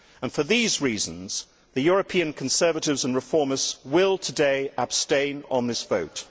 For these reasons, the European Conservatives and Reformists will today abstain on this vote.